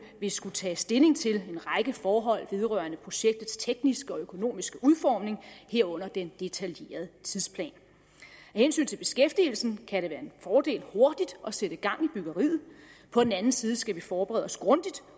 vil skulle tages stilling til en række forhold vedrørende projektets tekniske og økonomiske udformning herunder den detaljerede tidsplan af hensyn til beskæftigelsen kan fordel hurtigt at sætte gang i byggeriet på den anden side skal vi forberede os grundigt